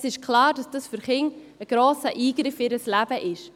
Es ist klar, dass dies für Kinder einen grossen Eingriff in ihr Leben bedeutet.